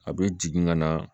A bɛ jigin ka na